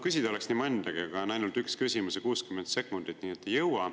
Küsida oleks nii mõndagi, aga on ainult üks küsimus ja 60 sekundit, nii et ei jõua.